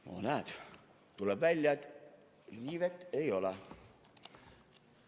No näed, tuleb välja, et riivet ei ole.